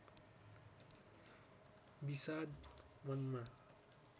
विषाद मनमा